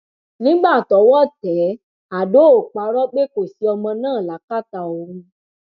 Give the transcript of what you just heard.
nígbà tọwọ tẹ àdó ò parọ pé kò sí ọmọ náà lákàtà òun